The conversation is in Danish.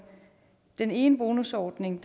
den ene bonusordning